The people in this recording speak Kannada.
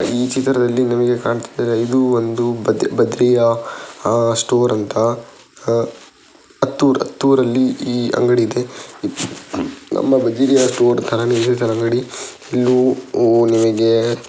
ಈ ಚಿತ್ರದಲ್ಲಿ ನಮಗೆ ಕಾಣ್ತಾ ಇದೆ ಇದು ಒಂದು ಬದ್ ಬದ್ರಿಯಾ ಆ ಸ್ಟೋರ್ ಅಂತ ಆ ಹತ್ತು ಹತ್ತುರಲ್ಲಿ ಈ ಅಂಗಡಿಯಿದೆ ನಮ್ಮ ಬದರಿಯ ಸ್ಟೋರ್ ಥರಾ ನೆ ಇದೆ ತರ ಅಂಗಡಿ .]